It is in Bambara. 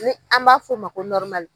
Ni an b'a fɔ o ma ko